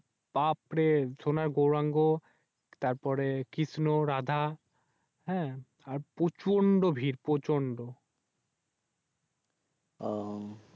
বাপরে সোনার গোউরাঙ্গ তারপরে কৃষ্ণ রাধা হ্যাঁ আর প্রচন্ড বীর প্রচন্ড